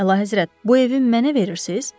Əlahəzrət, bu evi mənə verirsiz?